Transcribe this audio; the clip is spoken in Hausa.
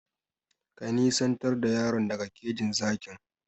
Ka nisantar da yaron daga kejin zakin!